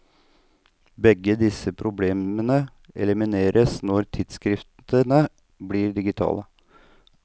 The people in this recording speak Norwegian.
Begge disse problemene elimineres når tidsskriftene blir digitale.